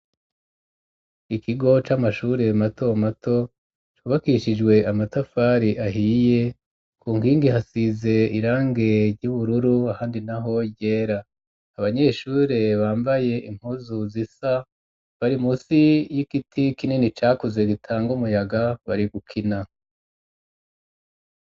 Ikigo c'amashure mato mato cubakishijwe amatafari ahiye ku nkingi hasize irange ry'ubururu handi na ho ryera abanyeshure bambaye impuzu zisa bari musi y'igiti kinini cakuze gitanga umuyaga bari gukina.